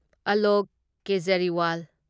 Alok Kejriwal